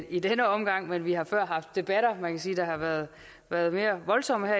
i denne omgang vi har før haft debatter man kan sige har været været mere voldsomme